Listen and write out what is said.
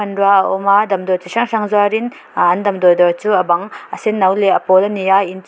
a awm a damdawi chi hrang hrang zuarin ahh an damdawi dawr chu a bang a senno leh a pawl a ni a in--